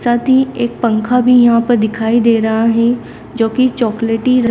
अति एक पंखा भी यहां पर दिखाई दे रहा है जो की चॉकलेटी रंग--